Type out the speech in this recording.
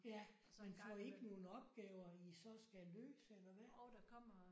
Ja men får I ikke nogle opgaver I så skal løse eller hvad?